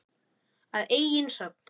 Að eigin sögn.